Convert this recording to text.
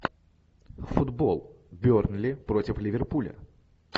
футбол бернли против ливерпуля